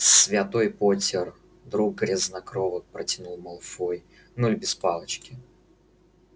святой поттер друг грязнокровок протянул малфой нуль без палочки